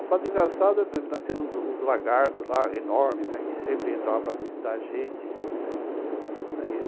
O fato engraçado é que nós temos uns lagartos lá, enormes, que sempre entravam para visitar a gente, né. Aí